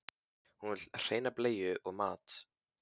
Hún vill hreina bleiu og mat.